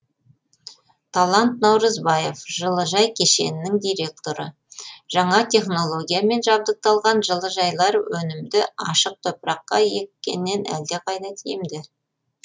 талант наурызбаев жылыжай кешенінің директоры жаңа технологиямен жабдықталған жылыжайлар өнімді ашық топыраққа еккеннен әлдеқайда тиімді